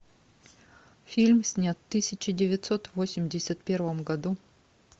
фильм снят в тысяча девятьсот восемьдесят первом году